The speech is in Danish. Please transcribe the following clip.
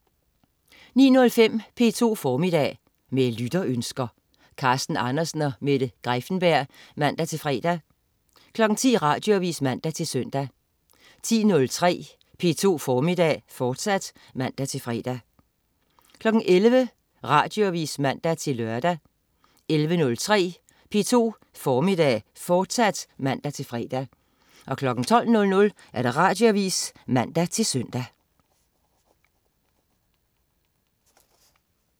09.05 P2 Formiddag. Med lytterønsker. Carsten Andersen og Mette Greiffenberg (man-fre) 10.00 Radioavis (man-søn) 10.03 P2 Formiddag, fortsat (man-fre) 11.00 Radioavis (man-lør) 11.03 P2 Formiddag, fortsat (man-fre) 12.00 Radioavis (man-søn)